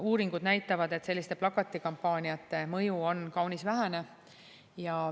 Uuringud näitavad, et selliste plakatikampaaniate mõju on kaunis vähene.